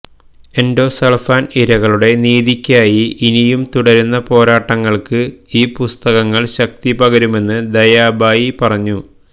endosulfan ഇരകളുടെ നീതിക്കായി ഇനിയും തുടരുന്ന പോരാട്ടങ്ങൾക്ക് ഈ പുസ്തകങ്ങൾ ശക്തി പകരുമെന്ന് ദയാബായി പറഞ്ഞു